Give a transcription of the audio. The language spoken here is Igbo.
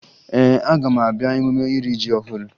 Ee, aga m abịa emume iri ji ọhụrụ